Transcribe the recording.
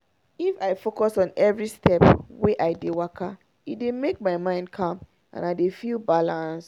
if i focus on every step when i dey waka e dey make my mind calm and i dey feel balanced.